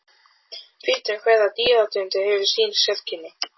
Fita hverrar dýrategundar hefur sín sérkenni.